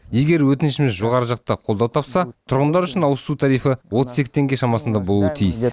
егер өтінішіміз жоғары жақта қолдау тапса тұрғындар үшін ауызсу тарифі отыз екі теңге шамасында болуы тиіс